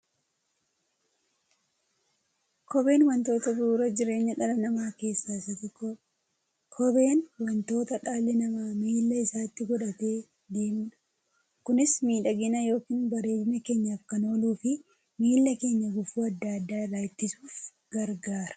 Kopheen wantoota bu'uura jireenya dhala namaa keessaa isa tokkodha. Kopheen wanta dhalli namaa miilla isaatti godhatee deemudha. Kunis miidhagina yookiin bareedina keenyaf kan ooluufi miilla keenya gufuu adda addaa irraa ittisuuf gargaara.